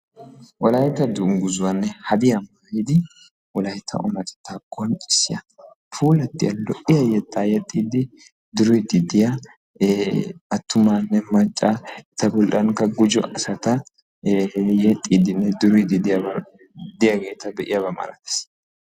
Wolaytta dungguzzanne hadiya maayiddi puulanne yexxiddinne duriddi atumma asatti issippe de'iyaaba malatees.